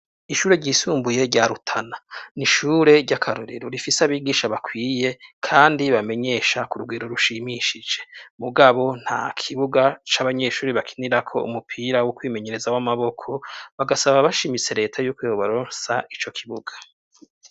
Ishure ryisumbuye rya Rutana ni ishure ry'akarorero. Rifise abigisha bakwiye kandi bamenyesha ku rugero rushimishije. Mugabo nta kibuga c'abanyeshuri bakinirako umupira wo kwimenyereza w'amaboko. Bagasaba bashimitse leta yuko yobaronsa ico kibuga.